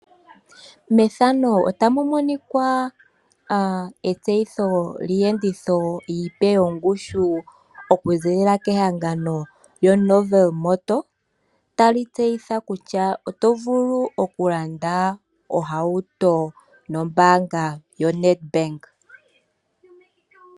Methano otamu monika etseyitho lyii yenditho iipe yo ngushu, oku ziilila kehangano lyo Novel motor. Ta li tseyitha kutya oto vulu oku landa ohauto nombaanga yoNedbank.